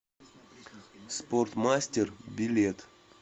спортмастер билет